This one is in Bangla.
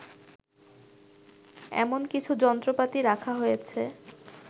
এমন কিছু যন্ত্রপাতি রাখা হয়েছে